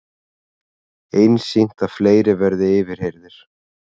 Einsýnt að fleiri verði yfirheyrðir